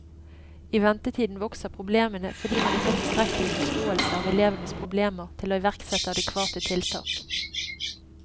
I ventetiden vokser problemene, fordi man ikke har tilstrekkelig forståelse av elevens problemer til å iverksette adekvate tiltak.